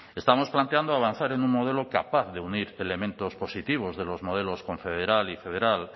estamos planteando avanzar en un modelo capaz de unir elementos positivos de los modelos confederal y federal